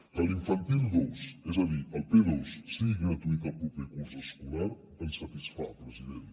que l’infantil dos és a dir el p2 sigui gratuït el proper curs escolar ens satisfà president